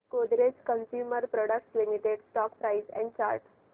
Godrej consumer products limited stock price and chart